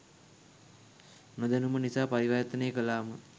නොදැනුම නිසා පරිවර්තනය කලාම